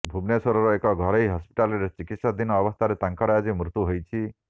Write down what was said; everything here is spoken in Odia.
ଭୁବନେଶ୍ୱରର ଏକ ଘରୋଇ ହସ୍ପିଟାଲରେ ଚିକିତ୍ସାଧୀନ ଅବସ୍ଥାରେ ତାଙ୍କର ଆଜି ମୃତ୍ୟୁ ହୋଇଛି